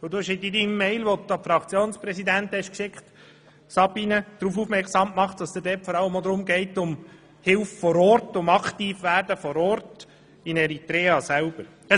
In deiner E-Mail, Sabina, die du an die Fraktionspräsidenten verschickt hast, hast du darauf aufmerksam gemacht, dass es dir vor allem auch um Hilfe vor Ort, um Aktivwerden vor Ort in Eritrea selber geht.